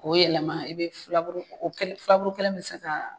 K'o yɛlɛma i bɛ filaburu kelen mi se k'a